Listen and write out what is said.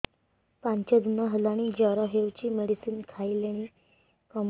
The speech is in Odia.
ପାଞ୍ଚ ଦିନ ହେଲାଣି ଜର ହଉଚି ମେଡିସିନ ଖାଇଲିଣି କମୁନି